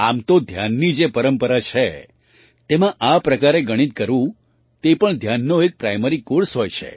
આમ તો ધ્યાનની જે પરંપરા છે તેમાં આ પ્રકારે ગણિત કરવું તે પણ ધ્યાનનો એક પ્રાઇમરી કૉર્સ હોય છે